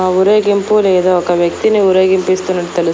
ఆ ఊరేగింపు లేదా ఒక వ్యక్తిని ఊరేగింపిస్తున్నట్టు తెలుస్--